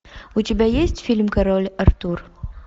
у тебя есть фильм король артур